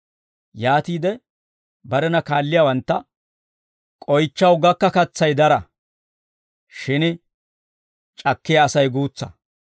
Yaatiide barena kaalliyaawantta, «K'oychchaw gakka katsay dara; shin c'akkiyaa Asay guutsa.